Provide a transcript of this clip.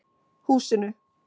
Húsinu